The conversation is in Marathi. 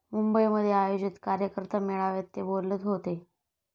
मुंबईमध्ये आयोजित कार्यकर्ता मेळाव्यात ते बोलत होते.